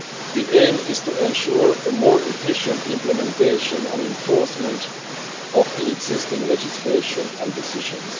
The aim is to ensure more efficient implementation and enforcement of the existing legislation and decisions.